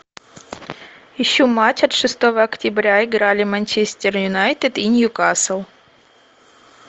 ищу матч от шестого октября играли манчестер юнайтед и ньюкасл